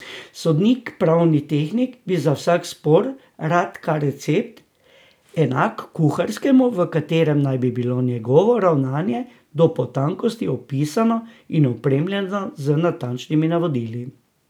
Sodnik, pravni tehnik, bi za vsak spor rad kar recept, enak kuharskemu, v katerem naj bi bilo njegovo ravnanje do potankosti opisano in opremljeno z natančnimi navodili.